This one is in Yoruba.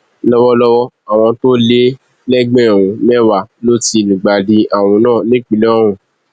lọwọlọwọ àwọn tó lé lẹgbẹrún mẹwàá ló ti lùgbàdì àrùn náà nípínlẹ ọhún